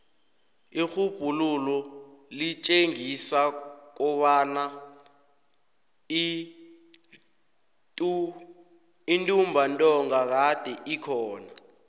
irhubhululo litjengisa kobana intumbantonga kade ikhona